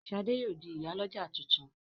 Shola yóò di ìyá l'ọja títún.